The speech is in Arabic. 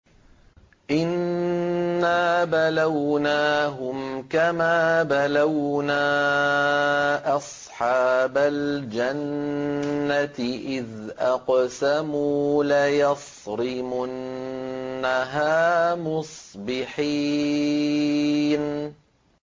إِنَّا بَلَوْنَاهُمْ كَمَا بَلَوْنَا أَصْحَابَ الْجَنَّةِ إِذْ أَقْسَمُوا لَيَصْرِمُنَّهَا مُصْبِحِينَ